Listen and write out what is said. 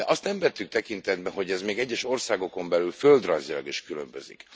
De azt nem vettük tekintetbe, hogy ez még egyes országokon belül földrajzilag is különbözik.